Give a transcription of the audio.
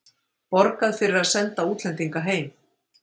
Borgað fyrir að senda útlendinga heim